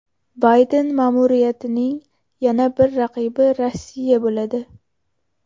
Bayden ma’muriyatining yana bir raqibi Rossiya bo‘ladi.